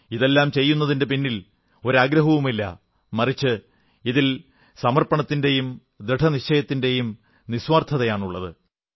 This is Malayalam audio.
ഇതെല്ലാം ചെയ്യുന്നതിന്റെ പിന്നിൽ ഒരു ആഗ്രഹവുമില്ല മറിച്ച് ഇതിൽ സമർപ്പണവും ദൃഢനിശ്ചയവും നിസ്വാർത്ഥതയുമാണുള്ളത്